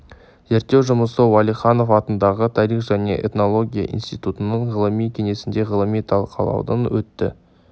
зерттеу жұмысы уәлиханов атындағы тарих және этнология институтының ғылыми кеңесінде ғылыми талқылаудан өтті